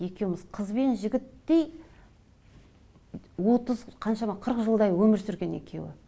екеуміз қызбен жігіттей отыз қаншама қырық жылдай өмір сүрген екеуі